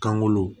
Kangolo